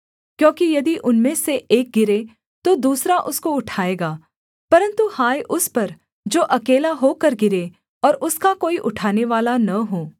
क्योंकि यदि उनमें से एक गिरे तो दूसरा उसको उठाएगा परन्तु हाय उस पर जो अकेला होकर गिरे और उसका कोई उठानेवाला न हो